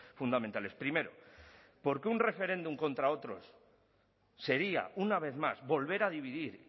fundamentales primero porque un referéndum contra otros sería una vez más volver a dividir